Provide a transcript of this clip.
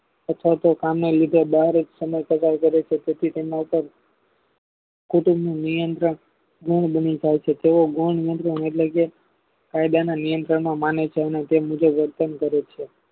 અથવા તો કામ ના લીધે બહાર જ સમય પસાર કરે છે તેથી તેમના પાર કુટુંબ નિયંત્રણ ગુણ બની જાય છે તેઓ ગુણ નિયંત્રણ એટલેકે કાયદાના નિયમ પ્રમાણે મને તે મુજબ વર્તન કરે છે